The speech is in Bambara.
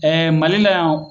Malila yan